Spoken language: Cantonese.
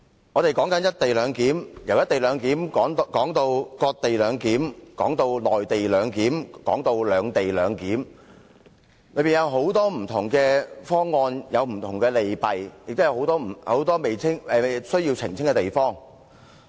我們從"一地兩檢"討論至"割地兩檢"、"內地兩檢"和"兩地兩檢"，當中有很多不同方案，有不同利弊，也有很多需要澄清的地方。